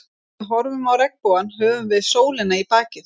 Þegar við horfum á regnbogann höfum við sólina í bakið.